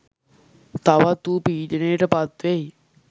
තවත් ඌ පීඩනයට පත්වෙයි